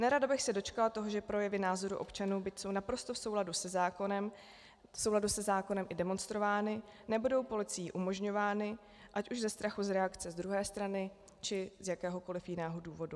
Nerada bych se dočkala toho, že projevy názorů občanů, byť jsou naprosto v souladu se zákonem i demonstrovány, nebudou policií umožňovány, ať už ze strachu z reakce z druhé strany, či z jakéhokoliv jiného důvodu.